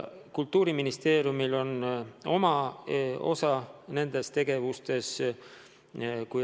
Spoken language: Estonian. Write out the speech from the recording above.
Kultuuriministeeriumil on oma osa nendes tegevustes.